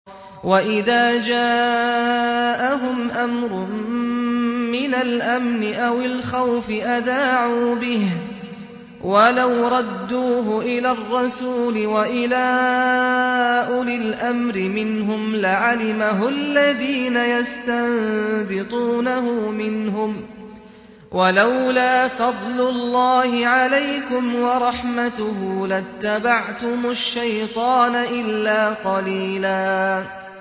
وَإِذَا جَاءَهُمْ أَمْرٌ مِّنَ الْأَمْنِ أَوِ الْخَوْفِ أَذَاعُوا بِهِ ۖ وَلَوْ رَدُّوهُ إِلَى الرَّسُولِ وَإِلَىٰ أُولِي الْأَمْرِ مِنْهُمْ لَعَلِمَهُ الَّذِينَ يَسْتَنبِطُونَهُ مِنْهُمْ ۗ وَلَوْلَا فَضْلُ اللَّهِ عَلَيْكُمْ وَرَحْمَتُهُ لَاتَّبَعْتُمُ الشَّيْطَانَ إِلَّا قَلِيلًا